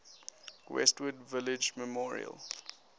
westwood village memorial